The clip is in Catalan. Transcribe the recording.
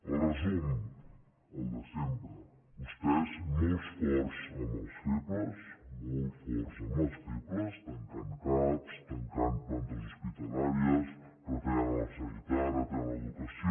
el resum el de sempre vostès molt forts amb els febles molt forts amb els febles tancant cap tancant plantes hospitalàries retallant la sanitat retallant l’educació